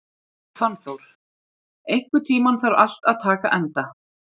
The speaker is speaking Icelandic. Fannþór, einhvern tímann þarf allt að taka enda.